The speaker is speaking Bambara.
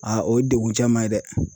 Aa o ye dekun caman ye dɛ!